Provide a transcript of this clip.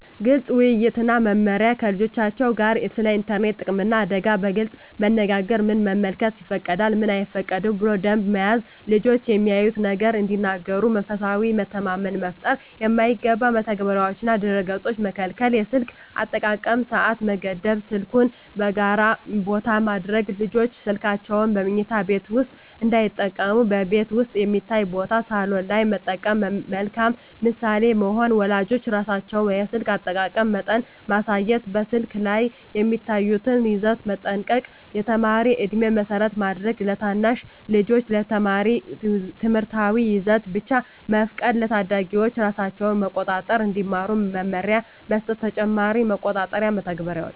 ግልፅ ውይይት እና መመሪያ ከልጆቻቸው ጋር ስለ ኢንተርኔት ጥቅምና አደጋ በግልፅ መነጋገር ምን መመልከት ይፈቀዳል፣ ምን አይፈቀድም ብሎ ደንብ መያዝ ልጆች ያዩትን ነገር እንዲነግሩ መንፈሳዊ መተማመን መፍጠር የማይገባ መተግበሪያዎችንና ድረ-ገፆችን መከልከል የስልክ አጠቃቀም ሰዓት መገደብ ስልኩን በጋራ ቦታ ማድረግ ልጆች ስልካቸውን በመኝታ ቤት ውስጥ እንዳይጠቀሙ በቤት ውስጥ የሚታይ ቦታ (ሳሎን) ላይ መጠቀም መልካም ምሳሌ መሆን ወላጆች ራሳቸው የስልክ አጠቃቀም መጠን ማሳየት በስልክ ላይ የሚያዩትን ይዘት መጠንቀቅ የተማሪ ዕድሜን መሰረት ማድረግ ለታናሽ ልጆች የተማሪ ትምህርታዊ ይዘት ብቻ መፍቀድ ለታዳጊዎች ራሳቸውን መቆጣጠር እንዲማሩ መመሪያ መስጠት ተጨማሪ መቆጣጠሪያ መተግበሪያዎች